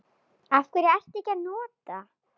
Af hverju ekki að nota?